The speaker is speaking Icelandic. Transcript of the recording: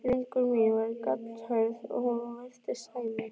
Löngun mín var gallhörð og hún virtist sæmi